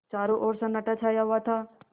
चारों ओर सन्नाटा छाया हुआ था